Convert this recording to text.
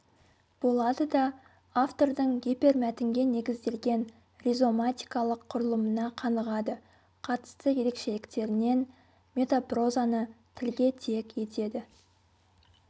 болады да автордың гипермәтінге негізделген ризоматикалық құрылымына қанығады қатысты ерекшеліктерінен метапрозаны тілге тиек етеді